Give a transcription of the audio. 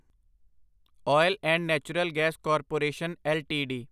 oil and natural gas corporation LTD